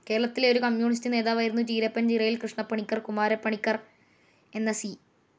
കേരളത്തിലെ ഒരു കമ്മ്യൂണിസ്റ്റ്‌ നേതാവായിരുന്നു ചീരപ്പൻചിറയിൽ കൃഷ്ണപ്പണിക്കർ കുമാരപ്പണിക്കർ എന്ന സി.